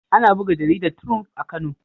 Ana buga jaridar Triump a Kano.